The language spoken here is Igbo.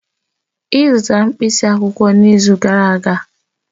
Ị zụtara mkpịsị akwụkwọ n'izu gara aga?